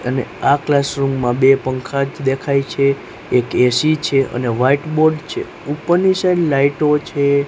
અને આ ક્લાસરૂમ માં બે પંખા જ દેખાય છે એક એ_સી છે અને વ્હાઇટ બોર્ડ છે ઉપરની સાઈડ લાઈટો છે.